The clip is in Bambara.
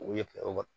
O ye